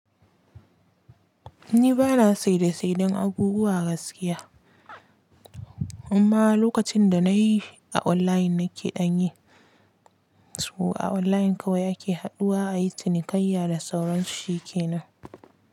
Ni ba na saida saidan abubuwa gaskiya, amma lokacin da na yi a online nake ɗan yi. Saboda a online kawai ake haduwa ayi cinikayya da sauran shi ke nan.